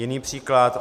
Jiný příklad.